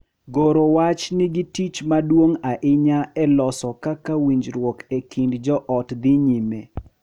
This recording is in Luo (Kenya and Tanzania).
Goro wach nigi tich maduong’ ahinya e loso kaka winjruok e kind joot dhi nyime.